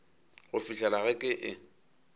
go fihlela ge ke e